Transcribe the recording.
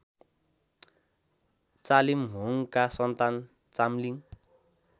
चालिमहोङका सन्तान चाम्लिङ